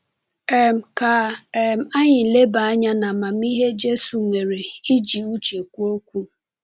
um Ka um anyị leba anya n’amamihe Jésù nwere n’iji uche kwuo okwu.